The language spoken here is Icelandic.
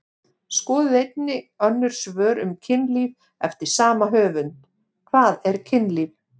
Skoðið einnig önnur svör um kynlíf eftir sama höfund: Hvað er kynlíf?